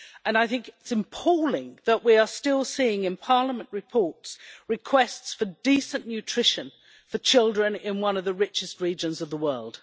I think it is appalling that we are still seeing in Parliament reports requests for decent nutrition for children in one of the richest regions of the world.